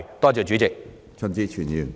多謝主席。